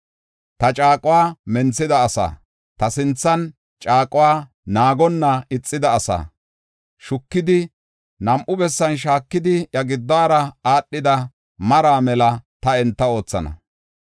Ta caaquwa menthida asaa, ta sinthan caaquwa naagonna ixida asaa, shukidi, nam7u bessan shaakidi, iya giddora aadhida maraa mela ta enta oothana.